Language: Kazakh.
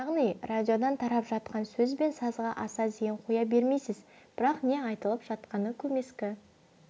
яғни радиодан тарап жатқан сөз бен сазға аса зейін қоя бермейсіз бірақ не айтылып жатқаны көмескі